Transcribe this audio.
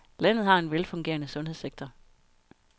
Landet har en velfungerende sundhedssektor.